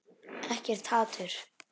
Ekkert hatur.